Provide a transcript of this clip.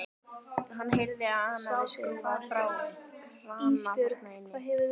Hann heyrði að hún hafði skrúfað frá krana þar inni.